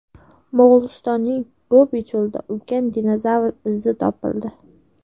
Mo‘g‘ulistonning Gobi cho‘lida ulkan dinozavr izi topildi.